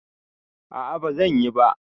A'a bazan yi ba.